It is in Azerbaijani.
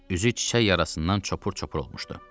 Üzü çiçək yarasından çopur-çopur olmuşdu.